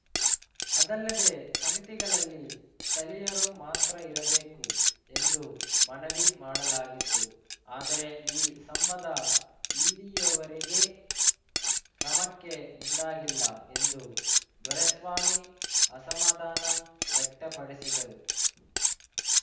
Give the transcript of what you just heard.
ಅದಲ್ಲದೆ ಸಮಿತಿಗಳಲ್ಲಿ ಸ್ಥಳೀಯರು ಮಾತ್ರ ಇರಬೇಕು ಎಂದು ಮನವಿ ಮಾಡಲಾಗಿತ್ತು ಆದರೆ ಈ ಸಂಬಧ ಇಲ್ಲಿಯವರೆಗೇ ಕ್ರಮಕ್ಕೆ ಮುಂದಾಗಿಲ್ಲ ಎಂದು ದೊರೆಸ್ವಾಮಿ ಅಸಮಾಧಾನ ವ್ಯಕ್ತಪಡಿಸಿದರು